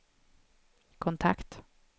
kontakt